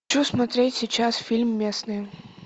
хочу смотреть сейчас фильм местные